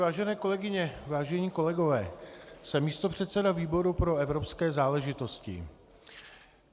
Vážené kolegyně, vážení kolegové, jsem místopředseda výboru pro evropské záležitosti.